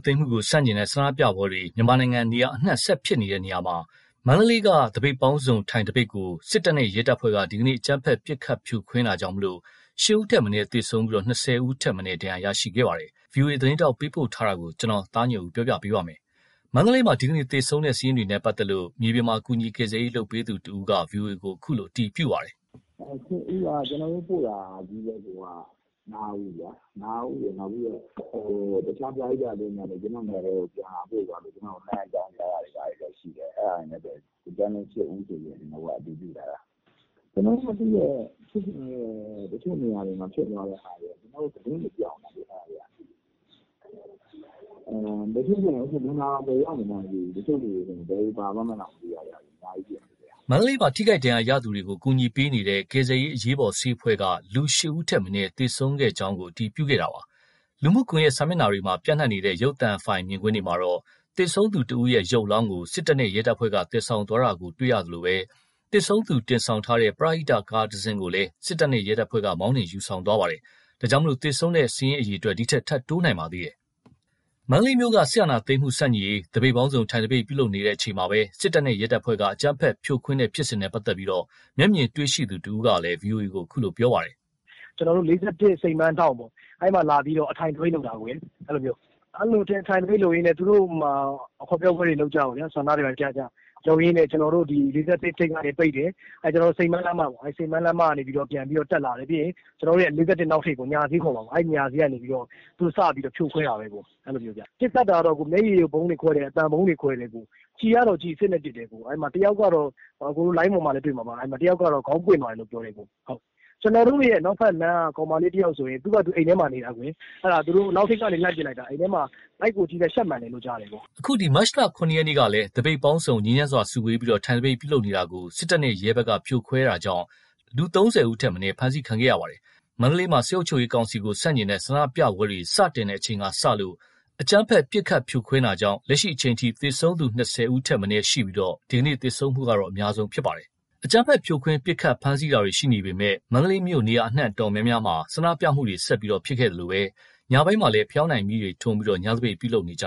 သိမ်းမှု ဆန့်ကျင်တဲ့ ဆန္ဒပြပွဲတွေ မြန်မာနိုင်ငံအနှံ့ ဆက်ဖြစ်ပွားနေရာမှာ မန္တလေးမှာ သပိတ်ပေါင်းစုံ ထိုင်သပိတ်ကို စစ်တပ်နဲ့ ရဲတပ်ဖွဲ့က ဒီကနေ့ အကြမ်းဖက် ပစ်ခတ်ဖြိုခွဲခဲ့တာကြောင့် ၈ ဦးထက်မနည်း သေဆုံးပြီး ၂၀ ဦးထက်မနည်း ဒဏ်ရာရရှိခဲ့ပါတယ်။ ဗွီအိုအေသတင်းထောက် ပေးပို့ထားတာကို ကိုသားညွန့်ဦး ပြောပြပါမယ်။ မန္တလေးမှာ ဒီကနေ့ သေဆုံးတဲ့ စာရင်းတွေနဲ့ ပတ်သက်လို့ မြေပြင်မှာ ကူညီကယ်ဆယ်ရေး လုပ်ပေးသူတဦးက ဗွီအိုအေကို အခုလို အတည်ပြုပါတယ်။ “၈ ဦးက ကျေနာ်တို့ပို့တာချည်းပဲ ၅ ဦး။ တခြား ပရဟိတအသင်းတွေကလည်း ပို့တာ အကြောင်းကြားတာတွေ ရှိတယ်။ ဒီအတိုင်း ၈ ဦးဆိုပြီး အတည်ပြုထားတာ။ ကျနော်တို့မသိတဲ့ ဖြစ်စဉ်တွေ တချို့နေရာတွေမှာ ဖြစ်သွားတဲ့ဟာတွေက သတင်းတွေ ပျောက်နေတယ်လေ။ အဲ့ဟာတွေက လူနာတောင် ဘယ်တွေရောက်နေမှန်း မသိဘူး။ တချို့ဆို ဘယ်တွေပါသွားမှန်းတောင် မသိဘူး။” မန္တလေးမှာ ထိခိုက်ဒဏ်ရာရသူတွေကို ကူညီပေးနေတဲ့ ကယ်ဆယ်ရေး အရေးပေါ်ဆေးအဖွဲ့က လူ ၈ ဦးထက်မနည်း သေဆုံးခဲ့ကြောင်းကို အတည်ပြုခဲ့တာပါ။ လူမှုကွန်ရက် စာမျက်နှာတွေမှာ ပျံ့နှံ့နေတဲ့ ရုပ်သံဖိုင်မြင်ကွင်းမှာတော့ သေဆုံးသူတဦးရဲ့ ရုပ်အလောင်းကို စစ်တပ်နဲ့ ရဲတပ်ဖွဲ့က သယ်ဆောင်သွားတာကိုလည်း တွေ့ရသလို သေဆုံးသူ တင်ဆောင်ထားတဲ့ ပရဟိတ ကားတစီးကိုလည်း စစ်တပ်နဲ့ ရဲတပ်ဖွဲ့က မောင်းနှင်ယူဆောင်သွားပါသေးတယ်။ ဒါကြောင့် သေဆုံးသူစာရင်းတွေ ထပ်တိုးနိုင်ပါသေးတယ်။ မန္တလေးမြို့က စစ်အာဏာသိမ်းမှု ဆန့်ကျင်ရေး သပိတ်ပေါင်းစုံ ထိုင်သပိတ် ပြုလုပ်နေချိန်မှာ စစ်တပ်နဲ့ ရဲတပ်ဖွဲ့က အကြမ်းဖက်ဖြိုခွင်းတဲ့ ဖြစ်စဉ်နဲ့ ပတ်သက်လို့ မျက်မြင်တွေ့ရှိသူတဦးကလည်း ဗွီအိုအေကို အခုလိုပြောပါတယ်။ “၄၁ စိန်ပန်းလမ်းထောင့် အဲ့မှာ အထိုင်သပိတ်လုပ်တာ။ အဲ့မှာ ထိုင်သပိတ်လုပ်ရင်း ဟောပြောပွဲတွေလုပ်ကြ၊ ဆန္ဒတွေပြကြတော့ ကျနော်တို့ ၄၁ ထိပ်ကနေ ပိတ်တယ်။ စိန်ပန်းလမ်းမကနေ တက်လာတယ်။ ၄၁ အနောက်ထိပ် ညဈေးခေါ်မှာပေါ့ အဲ့ကနေစပြီးတော့ သူတို့ဖြိုခွဲတာပေါ့။ ပစ်ခတ်တာကတော့ မျက်ရည်ယိုဗုံးတွေ ခွဲတယ်၊ အသံဗုံးတွေ ခွဲတယ်၊ ကျည်အစစ်တွေနဲ့ ပစ်တယ်။ အဲ့မှာ တယောက်က လိုင်းပေါ်မှာလည်း တွေ့မှာပါ ခေါင်းပွင့်သွားတယ်ပြောတယ်။ ကျနော်တို့ အနောက်ဘက်လမ်းက ကောင်မလေးတယောက်ဆိုရင် အိမ်ထဲမှာပဲ နေတာ။ အနောက်ထိပ်ကနေ လှမ်းပစ်လိုက်တာ ဗိုက်ကို ရှပ်မှန်တယ်လို့ ကြားတယ်။” အခု မတ်လ ၇ ရက်နေ့ကလည်း သပိတ်ပေါင်းစုံ ငြိမ်းချမ်းစွာ စုဝေးပြီး ထိုင်သပိတ် ပြုလုပ်နေတာကို စစ်တပ်နဲ့ ရဲတပ်ဖွဲ့က ဖြိုခွင်းခဲ့တာကြောင့် လူ ၃၀ ဦးထက်မနည်း ဖမ်းဆီးခံခဲ့ရပါတယ်။ မန္တလေးမှာ စစ်အုပ်ချုပ်ရေးကောင်စီကို ဆန့်ကျင်တဲ့ ဆန္ဒပြပွဲတွေ စတင်တဲ့ အချိန်ကစလို့ အကြမ်းဖက် ပစ်ခတ်ဖြိုခွင်းတာကြောင့် လက်ရှိအချိန်ထိ သေဆုံးသူ ၂၀ ဦးထက်မနည်းရှိပြီး ဒီကနေ့ သေဆုံးတာကတော့ အများဆုံးသေဆုံးတာ ဖြစ်ပါတယ်။ အကြမ်းဖက် ဖြိုခွင်းပစ်ခတ် ဖမ်းဆီးတာတွေ ရှိနေပေမယ့် မြို့အနှံ့ နေရာတော်တော်များများမှာ ဆန္ဒပြမှုတွေ ဆက်ရှိခဲ့သလို ညဘက်မှလည်း ဖယောင်းတိုင်မီးတွေ ထွန်းပြီး ညသပိတ် ပြုလုပ်နေကြ